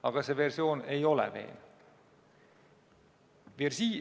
Aga see versioon ei ole veenev.